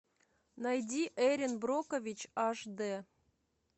найди эрин брокович аш д